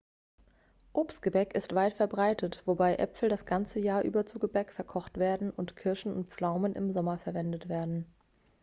obstgebäck ist weit verbreitet wobei äpfel das ganze jahr über zu gebäck verkocht werden und kirschen und pflaumen im sommer verwendet werden